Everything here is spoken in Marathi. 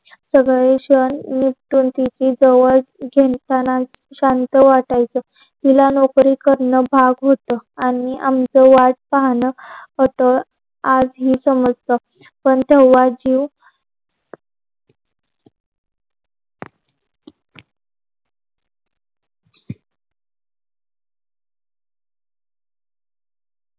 सगळे सन निपटून तिची जवळच जे जेण जन शांत वाटायच. तिला नोकरी करत भाग होत आणि आमचं वाट पाहण अत आजची समस्या समजत. पण तेंव्हा ती